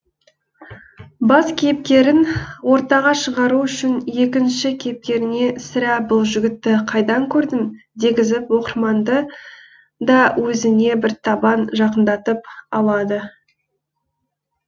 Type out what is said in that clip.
бас кейіпкерін ортаға шығару үшін екінші кейіпкеріне сірә бұл жігітті қайдан көрдім дегізіп оқырманды да өзіне бір табан жақындатып алады